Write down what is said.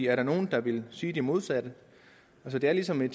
er der nogen der ville sige det modsatte det er ligesom ved